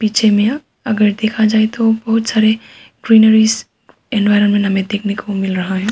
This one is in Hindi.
पीछे में अगर देखा जाए तो बहुत सारे ग्रीनरीज़ एनवायरनमेंट हमें देखने को मिल रहा है।